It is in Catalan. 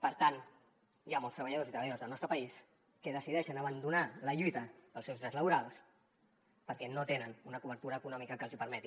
per tant hi ha molts treballadors i treballadors del nostre país que decideixen abandonar la lluita pels seus drets laborals perquè no tenen una cobertura econòmica que els ho permeti